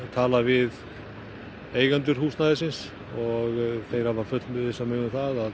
talaði við eigendur húsnæðisins þeir fullvissuðu mig um að